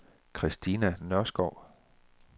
Christina Nørskov